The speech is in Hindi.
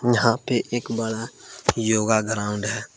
यहां पे एक बड़ा योगा ग्राउंड है।